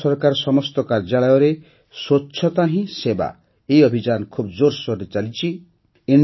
କେନ୍ଦ୍ର ସରକାରଙ୍କ ସମସ୍ତ କାର୍ଯ୍ୟାଳୟରେ ସ୍ୱଚ୍ଛତା ହିଁ ସେବା ଅଭିଯାନ ଖୁବ ଜୋରସୋରରେ ଚାଲିଛି